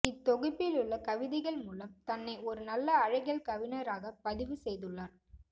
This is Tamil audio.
இத்தொகுப்பிலுள்ள கவிதைகள் மூலம் தன்னை ஒரு நல்ல அழகியல் கவிஞராகப் பதிவு செய்துள்ளார்